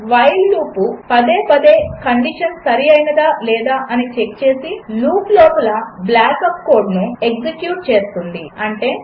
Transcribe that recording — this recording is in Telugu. వైల్ లూపు పదే పదే కండిషన్ సరి అయినదా అని చెక్ చేసి లూపు లోపల బ్లాక్ ఆఫ్ కోడ్ను ఎగ్జెక్యూట్ చేస్తుంది అది ఉంటే